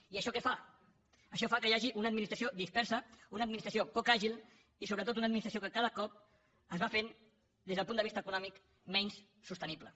i això què fa això fa que hi hagi una administració dispersa una administració poc àgil i sobretot una administració que cada cop es va fent des del punt de vista econòmic menys sostenible